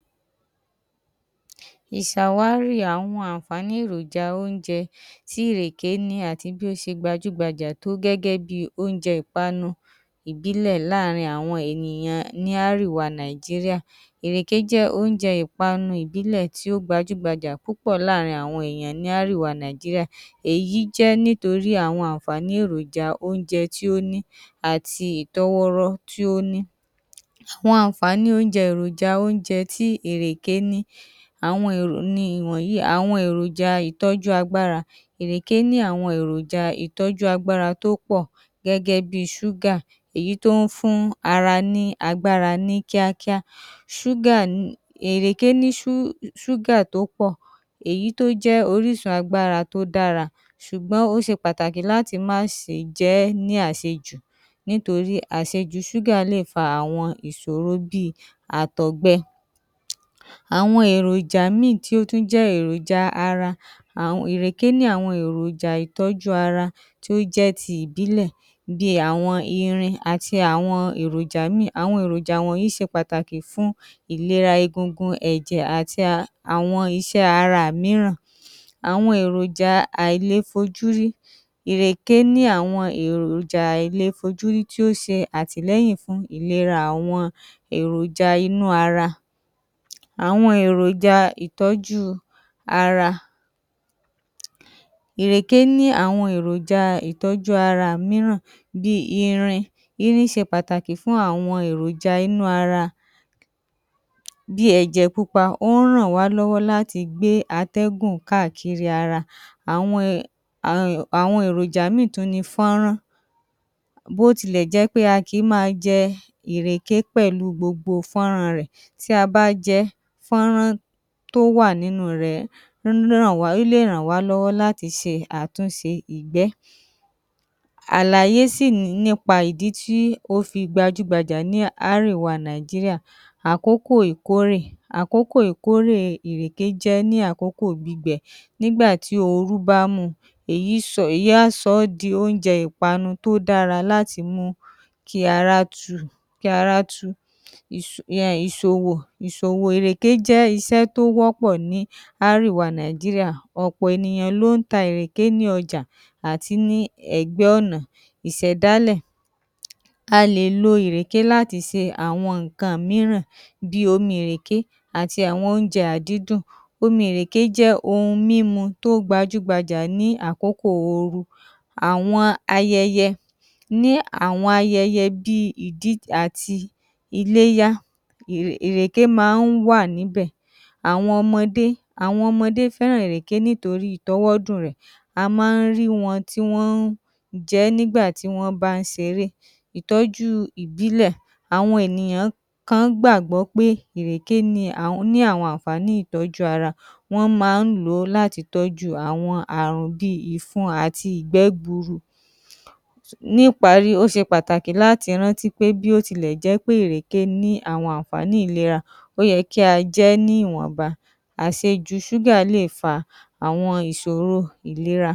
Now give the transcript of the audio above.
ìsàwárí àwọn àǹfààní èròja óúnjẹ tí ìrèké ní àti bí ó se gbajúgbajà tó gẹ́gẹ́ bi óúnjẹ ìpanu ìbílẹ̀ láàrin àwọn ènìyàn ní árèwa Nàíjíríà. ìrèké jẹ́ óúnjẹ ìpanu ìbílẹ̀ tí ó gbajúgbajà púpọ̀ láàrin àwọn èèyàn ní árèwa Nàíjíríà. Èyí jẹ́ nítorí àwọn àǹfààní èròja óúnjẹ tí ó ní àti ìtọ́wọ́rọ́ tí ó ní. Àwọn àǹfààní óúnjẹ èròja óúnjẹ tí ìrèké ní, àwọn ni ìwọ̀nyìí: Àwọn èròja ìtọ́jú agbára, ìrèké ní àwọn èròja ìtọ́jú agbára tó pọ̀ gẹ́gẹ́ bí ṣúgà, eyí tó ń fún ara ní agbára ní kíákíá. ṣúgà ni, ìrèké ní ṣú ṣúgà tó pọ̀ èyí tó jẹ́ orísun agbára tó dára ṣùgbọ́n ó se pàtàkì láti má se jẹ ẹ́ ní àsejù nítorí àsejù ṣúgà lè fa àwọn ìsòro bí i àtọ̀gbẹ. Àwọn èròjà míì tó tún jẹ́ èròja ara ìrèké ní àwọn èròjà ìtọ́jú ara tí ó jẹ́ ti ìbílẹ̀ bí i àwọn irin àti àwọn èròjà míì. Àwọn èròjà wọ̀nyìí se pàtàkì fún ìlera egungun, ẹ̀jẹ̀ àti àwọn isẹ́ ara mìíràn. Àwọn èròja àìlefojúrí: Ìrèké ní àwọn èròjà àìlefojúrí tí ó se àtìlẹ́yìn fún ìlera àwọn èròja inú ara. Àwọn èròja ìtọ́jú ara: Ìrèké ní àwọn èròja ìtọ́jú ara mííràn bí í irin. Irín se pàtàkì fún àwọn èròja inú ara. Bí i ẹ̀jẹ̀ pupa, ó ń ràn wá lọ́wọ́ láti gbé atẹ́gùn káàkiri ara. Àwọn um àwọn èròjà míì tún ni fọ́nrán. Bó tilẹ̀ jẹ́ pé a kì í ma jẹ ìrèké pẹ̀lú gbogbo fọ́nran rẹ̀, tí a bá jẹ fọ́nrán tó wà nínu rẹ̀ ó lè ràn wá lọ́wọ́ láti se àtúnse ìgbẹ́. Àlàyé sì ní nípa ìdí tí ó fi gbajúgbajà ní árèwá Nàíjíríà. Àkókò ìkórè: Àkókò ìkórè ìrèké jẹ́ ní àkókò gbígbẹ. Nígba tí orú bá mu èyí sọ èyí á sọ ọ́ di óúnjẹ ìpanu tó dára láti mu kí ará tu kí ará tu ú. Ìsò um ìsòwò: Ìsòwò ìrèké jẹ́ isẹ́ tó wọ́pọ̀ ní árèwa Nàíjíríà. Ọ̀pọ̀ ènìyàn ló ń ta ìrèké ní ọjà àti ní ẹ̀gbẹ́ ọ̀nà. Ìsẹ̀dálẹ̀: A lè lo ìrèké láti se àwọn ǹǹkan mìíràn bí i omi ìrèké àti àwọn óúnjẹ àdídùn. Omi ìrèké jẹ́ ohun mímu tó gbajúgbajà ní àkókò oru. Àwọn ayẹyẹ: Ní àwọn ayẹyẹ bí i ìdí àti iléyá, ìrèké máá ń wà níbẹ̀. Àwọn ọmọdé: Àwọn ọmọdé fẹ́ràn ìrèké nítorí ìtọwọdùn-un rẹ̀. A máá ń rí wọn tí wọ́n ń jẹ ẹ́ nígbà tí wọ́n bá ń seré. Ìtọ́jú ìbílẹ̀: Àwọn ènìyan kan gbàgbọ́ pé ìrèké ni ní àwọn àǹfààní ìtọ́jú ara. Wọ́n máá ń lò ó láti tọ́jú àwọn àrùn bí i ìfun àti ìgbẹ́ gburu. Níparí, ó se pàtàkì láti rántí pé bí ó tilẹ̀ jẹ́ pé ìrèké ní àwọn àǹfààní ìlera, ó ye kí a jẹ ẹ́ ní ìwọ̀nba, àsejù ṣúgà lè fa àwọn ìsòro ìlera.